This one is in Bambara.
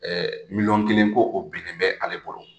Ɛɛ miliyɔn kelen ko o binnen bɛ ale bolo